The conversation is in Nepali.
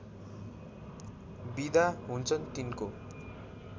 बिदा हुन्छन् तिनको